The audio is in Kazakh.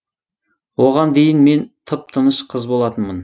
оған дейін мен тып тыныш қыз болатынмын